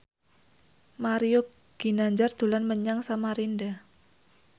Mario Ginanjar dolan menyang Samarinda